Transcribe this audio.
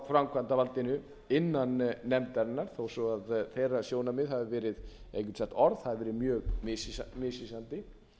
framkvæmdarvaldinu innan nefndarinnar þó svo að þeirra sjónarmið hafi verið eða ég get sagt að orð hafi verið mjög misvísandi